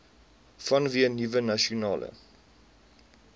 vanweë nuwe nasionale